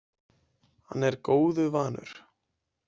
Hann er góðu vanur.